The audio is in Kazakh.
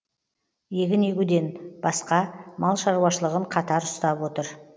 егін егуден басқа мал шаруашылығын қатар ұстап отыр